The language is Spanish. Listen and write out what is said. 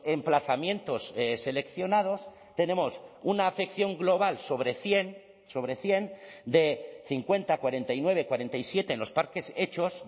emplazamientos seleccionados tenemos una afección global sobre cien sobre cien de cincuenta cuarenta y nueve cuarenta y siete en los parques hechos